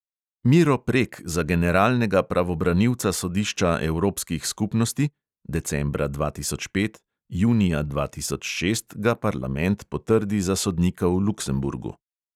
Miro prek za generalnega pravobranilca sodišča evropskih skupnosti (decembra dva tisoč pet, junija dva tisoč šest ga parlament potrdi za sodnika v luksemburgu).